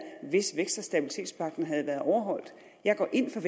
hvis stabilitets og havde været overholdt jeg går ind for